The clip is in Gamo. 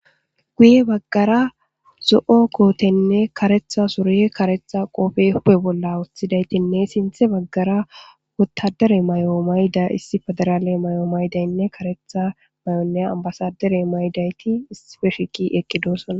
Guye baggara zoo kotenne kareththa surenne kareththa qoppe huphe bola wothidayitinne sinththe baggara wotadara mayo mayidi issi pederale mayo mayidanne karetha ambasadere issippe shiqi eqidisona